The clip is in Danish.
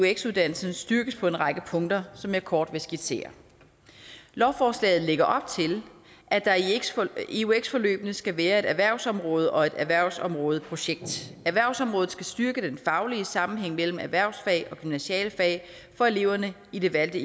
eux uddannelsen styrkes på en række punkter som jeg kort vil skitsere lovforslaget lægger op til at der i eux forløbene skal være et erhvervsområde og et erhvervsområdeprojekt erhvervsområdet skal styrke den faglige sammenhæng mellem erhvervsfag og gymnasiale fag for eleverne i det valgte